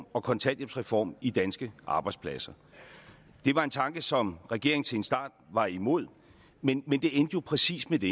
og kontanthjælpsreformen i danske arbejdspladser det var en tanke som regeringen til en start var imod men det endte jo præcis med det